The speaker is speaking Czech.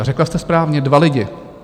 A řekla jste správně, dva lidi.